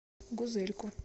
гузельку